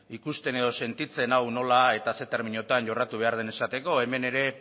ikusten edo sentitzen hau nola eta zer terminotan jorratu behar den esateko hemen ere